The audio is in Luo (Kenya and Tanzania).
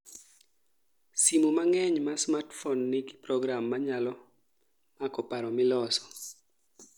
simu mang'eny ma smartphone nigi program manyalo mako paro miloso